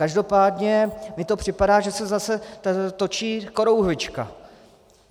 Každopádně mi to připadá, že se zase točí korouhvička.